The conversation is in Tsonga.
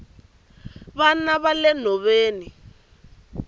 vana vale nhoveni